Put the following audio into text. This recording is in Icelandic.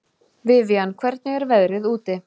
Vivian, hvernig er veðrið úti?